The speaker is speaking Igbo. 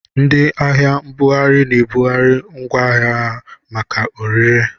Ndị ahịa mbughari na-ebugharị ngwaahịa ha maka orire.